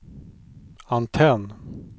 antenn